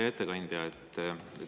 Hea ettekandja!